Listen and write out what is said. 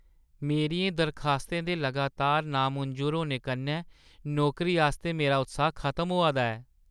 मेरियें दरखास्तें दे लगातार नामंजूर होने कन्नै नौकरी आस्तै मेरा उत्साह्‌ खतम होआ दा ऐ।